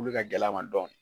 Uli ka gɛl'a ma dɔn